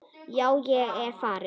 Já, ég er farinn.